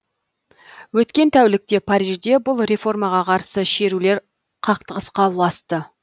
өткен тәулікте парижде бұл реформаға қарсы шерулер қақтығысқа ұласты